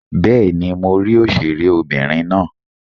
Bẹ́ẹ̀ni, mo rí òṣèré obìnrin náà.